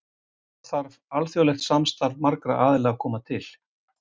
Þar þarf alþjóðlegt samstarf marga aðila að koma til.